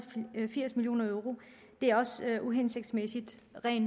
firs million euro det er også uhensigtsmæssigt